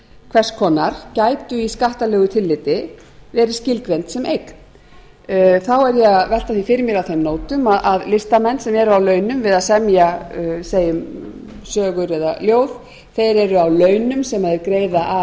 hvers konar gætu í skattalegu tilliti verið skilgreind sem eign þá er ég að velta því fyrir mér á þeim nótum að listamenn sem eru á launum við að semja segjum við sögur eða ljóð þeir eru á launum sem þeir greiða